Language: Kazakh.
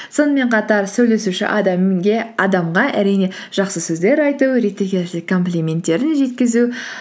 сонымен қатар сөйлесуші адамға әрине жақсы сөздер айту реті келсе комплименттерін жеткізу